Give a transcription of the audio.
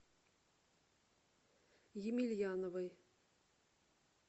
емельяновой